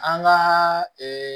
An ka